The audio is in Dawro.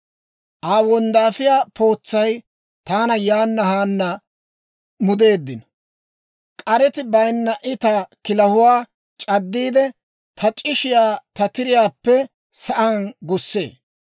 Aa wonddaafiyaa pootsay taana yaana haana mudeeddino. K'areti bayinnan I ta kilahuwaa c'addiide, ta c'ishshiyaa ta tiriyaappe sa'aan gussee.